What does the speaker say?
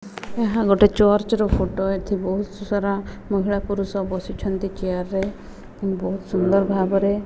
ଏହା ଗୋଟେ ଚର୍ଚ୍ଚ ର ଫୋଟ ଏଠି ବହୁତ ସାରା ମହିଳା ପୁରୁଷ ବସିଛନ୍ତି ଚେୟାର ରେ ବହୁତ ସୁନ୍ଦର ଭାବରେ --